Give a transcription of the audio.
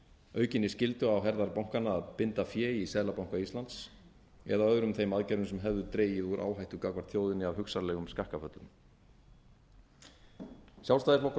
aukinni skyldu á herðar bankanna að binda fé í seðlabanka íslands eða öðrum þeim aðgerðum sem hefðu dregið úr áhættu gagnvart þjóðinni af hugsanlegum skakkaföllum sjálfstæðisflokkur